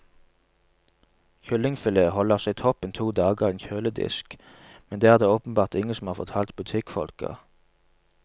Kyllingfilet holder seg toppen to dager i en kjøledisk, men det er det åpenbart ingen som har fortalt butikkfolka.